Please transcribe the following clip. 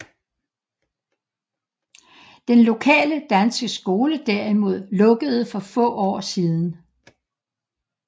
Den lokale danske skole derimod lukkede for få år siden